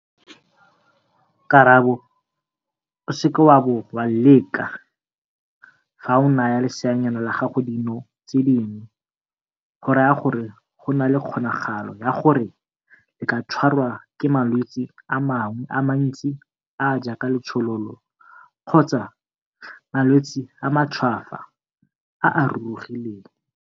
Karabo - O seke wa bo wa leka, fa o naya leseanyana la gago dino tse dingwe go raya gore go na le kgonagalo ya gore le ka tshwarwa ke malwetse a mangwe a mantsi a a jaaka letshololo kgotsa malwetse a matshwafo a a rurugileng.